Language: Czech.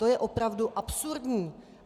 To je opravdu absurdní.